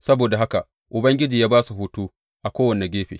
Saboda haka Ubangiji ya ba su hutu a kowane gefe.